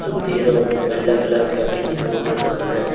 சுத்திலு வெள்ள colour curtains போட்ருக்காங்க.